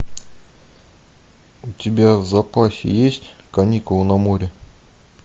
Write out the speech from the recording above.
у тебя в запасе есть каникулы на море